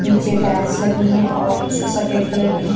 नीचे टाइल्स लगी है और सफेद कलर की--